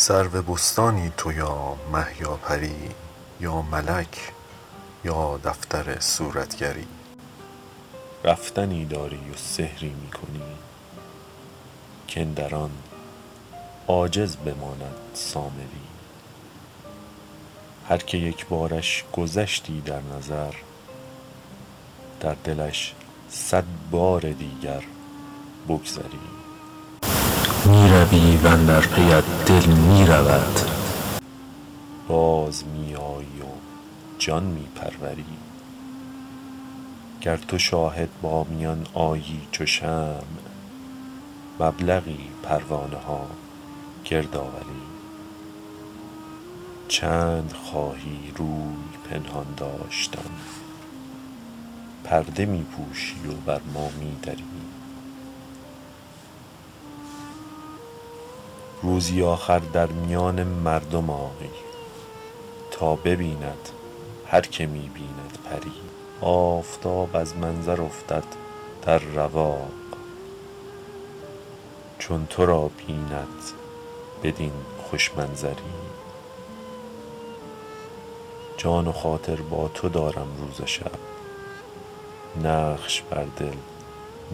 سرو بستانی تو یا مه یا پری یا ملک یا دفتر صورتگری رفتنی داری و سحری می کنی کاندر آن عاجز بماند سامری هر که یک بارش گذشتی در نظر در دلش صد بار دیگر بگذری می روی و اندر پیت دل می رود باز می آیی و جان می پروری گر تو شاهد با میان آیی چو شمع مبلغی پروانه ها گرد آوری چند خواهی روی پنهان داشتن پرده می پوشی و بر ما می دری روزی آخر در میان مردم آی تا ببیند هر که می بیند پری آفتاب از منظر افتد در رواق چون تو را بیند بدین خوش منظری جان و خاطر با تو دارم روز و شب نقش بر دل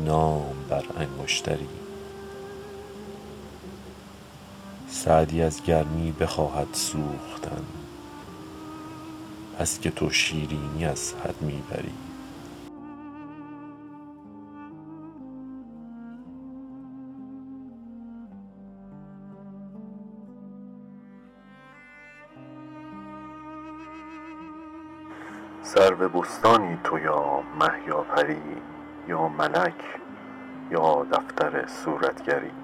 نام بر انگشتری سعدی از گرمی بخواهد سوختن بس که تو شیرینی از حد می بری